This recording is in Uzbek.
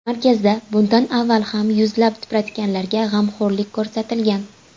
Markazda bundan avval ham yuzlab tipratikanlarga g‘amxo‘rlik ko‘rsatilgan.